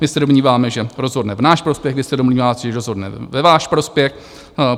My se domníváme, že rozhodne v náš prospěch, vy se domníváte, že rozhodne ve váš prospěch.